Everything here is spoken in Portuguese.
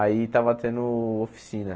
Aí estava tendo oficina.